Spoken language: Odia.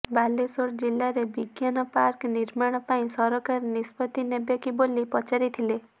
ବାଲେଶ୍ୱର ଜିଲାରେ ବିଜ୍ଞାନ ପାର୍କ ନିର୍ମାଣ ପାଇଁ ସରକାର ନିିଷ୍ପତ୍ତି ନେବେ କି ବୋଲି ପଚାରିଥିଲେ